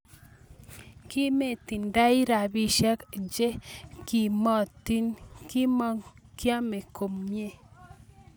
Kinmetindai rapisiek che kimokotin kimong ko kiamii komwe